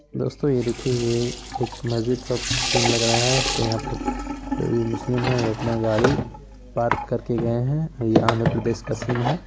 दोस्तों ये देखिए ये एक मस्जिद का सीन लग रहा है| जो भी मुस्लिम है वो अपना गाड़ी पार्क कर के गया है| ये आंध्र-प्रदेश का सीन है।